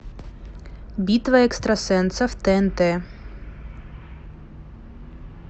битва экстрасенсов тнт